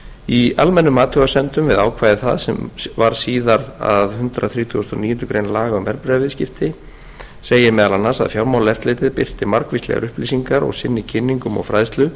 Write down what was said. í almennum athugasemdum við ákvæði það sem varð síðar að hundrað þrítugasta og níundu grein laga um verðbréfaviðskipti segir meðal annars að fjármálaeftirlitið birti margvíslegar upplýsingar og sinni kynningum og fræðslu